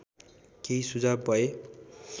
केही सुझाव भए